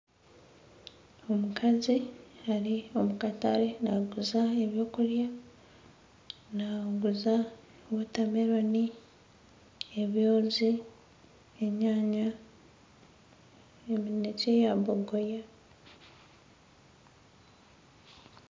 Omukazi ari omu katare naguza ebyokurya , naguza watermelon, ebyozi, enyanya, emineke ya bogoya .